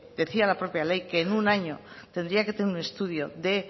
decía la propia ley que en un año tendría que tener un estudio